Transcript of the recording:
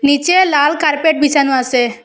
নীচে লাল কার্পেট বিছানো আছে।